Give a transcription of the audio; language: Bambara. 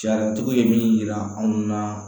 Sariyatigi ye min yira anw na